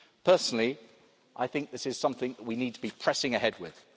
System. Personally, I think this is something we need to be pressing ahead